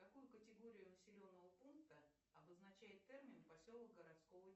какую категорию населенного пункта обозначает термин поселок городского